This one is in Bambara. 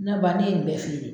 Na ba ne ye nin bɛɛ feere